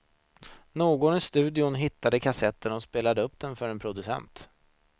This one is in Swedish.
Någon i studion hittade kassetten och spelade upp den för en producent.